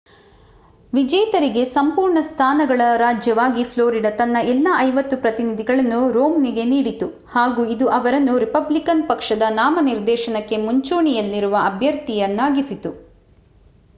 ವಿಜೇತರಿಗೆ ಸಂಪೂರ್ಣ ಸ್ಥಾನಗಳ ರಾಜ್ಯವಾಗಿ ಫ್ಲೋರಿಡಾ ತನ್ನ ಎಲ್ಲಾ ಐವತ್ತು ಪ್ರತಿನಿಧಿಗಳನ್ನು ರೊಮ್ನಿಗೆ ನೀಡಿತು ಹಾಗು ಇದು ಅವರನ್ನು ರಿಪಬ್ಲಿಕನ್ ಪಕ್ಷದ ನಾಮನಿರ್ದೇಶನಕ್ಕೆ ಮುಂಚೂಣಿಯಲ್ಲಿರುವ ಅಭ್ಯರ್ಥಿಯಾಗಿಸಿತು